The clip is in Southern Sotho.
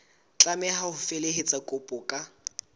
tlameha ho felehetsa kopo ka